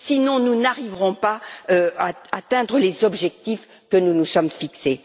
Sinon, nous n'arriverons pas à atteindre les objectifs que nous nous sommes fixés.